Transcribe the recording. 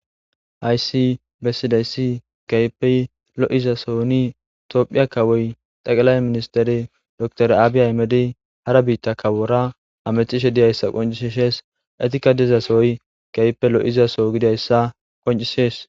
HaySsi bessidayssi keeppe lo7iza soni toophiya kawoy xaqalay ministeri dokter aabiy ahimedey hara biitta kawora hamettishe diyayssa qoncishisees. Etika dizasoy keehipe lo7izaso gidayssa qoncisees.